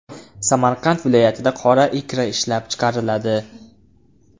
Samarqand viloyatida qora ikra ishlab chiqariladi.